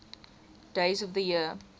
days of the year